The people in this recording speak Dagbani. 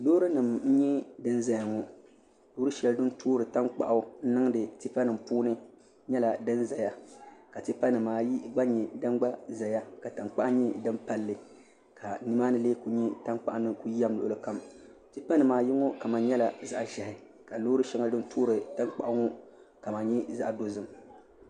Loori nim n nyɛ din ʒɛya ŋo loori shɛli din toori tankpaɣu niŋdi tipa nim puuni nyɛla din ƶɛya ka tipa nimaayi gba nyɛ din ƶɛya ka tankpaɣu nyɛ din palli ka nimaani lee ku nyɛ tankpaɣu ni ku yɛm luɣuli kam tipa nimaayi ŋo kama nyɛla zaɣ ʒiɛhi ka loori shɛŋa din toori tankpaɣu ŋo kama nyɛ zaɣ dozim